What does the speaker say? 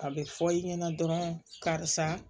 A bɛ fɔ i ɲɛna dɔrɔn karisa